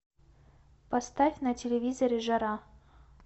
поставь на телевизоре жара